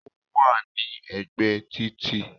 Ó wà ní ègbé títì